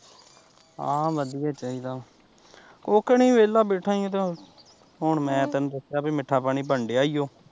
ਹਾਂ ਵਧੀਆ ਚਾਹੀਦਾ ਉੱਕਣ ਹੀਂ ਵੇਹਲਾ ਬੈਠਾ ਸੀ ਹੁਣ ਮੈਂ ਤੈਨੂ ਦੱਸਿਆ ਵੀ ਮਿੱਠਾ ਪਾਣੀ ਬਣਨ ਡਿਆ ਈ ਓ